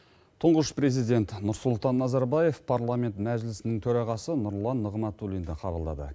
тұңғыш президент нұрсұлтан назарбаев парламент мәжілісінің төрағасы нұрлан нығматулинді қабылдады